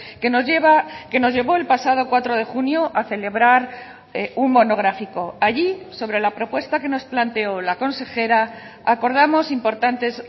que nos lleva que nos llevó el pasado cuatro de junio a celebrar un monográfico allí sobre la propuesta que nos planteó la consejera acordamos importantes